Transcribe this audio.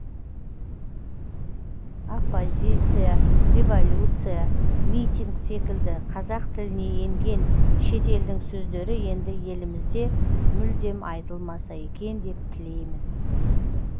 оппозиция революция митинг секілді қазақ тіліне енген шетелдің сөздері енді елімізде мүлдем айтылмаса екен деп тілеймін